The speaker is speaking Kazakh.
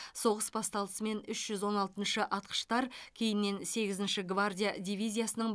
соғыс басталысымен үш жүз он алтыншы атқыштар кейіннен сегізінші гвардия дивизиясының